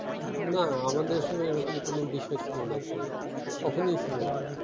না আমাদের সময় এরকম কেন বিষয় ছিল না অ্যাঁকচ্যুয়াললি কখনই ছিল না